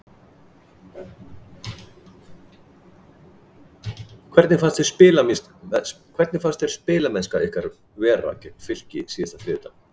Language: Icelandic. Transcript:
Hvernig fannst þér spilamennskan ykkar vera gegn Fylki síðasta þriðjudag?